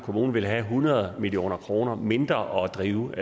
kommune vil have hundrede million kroner mindre at drive